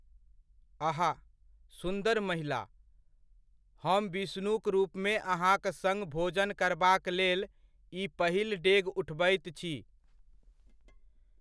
अहा! सुन्दर महिला, हम विष्णुक रूपमे अहाँक सङ्ग भोजन करबाक लेल ई पहिल डेग उठबैत छी।